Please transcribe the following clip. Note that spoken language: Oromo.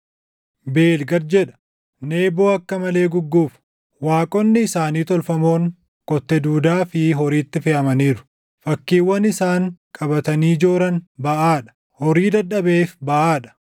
Beel gad jedha; Neboo akka malee gugguufa; waaqonni isaanii tolfamoon kotte duudaa fi horiitti feʼamaniiru; fakkiiwwan isaan qabatanii jooran baʼaa dha; horii dadhabeef baʼaa dha.